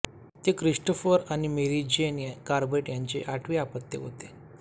ते क्रिस्टोफर आणि Mary Jane Corbett यांचे आठवे अपत्य होते